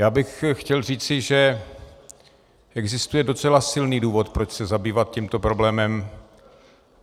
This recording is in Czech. Já bych chtěl říci, že existuje docela silný důvod, proč se zabývat tímto problémem.